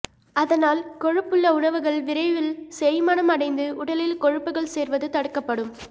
அதனால் கொழுப்புள்ள உணவுகள் விரைவில் செரிமானம் அடைந்து உடலில் கொழுப்புகள் சேர்வது தடுக்கப்படும்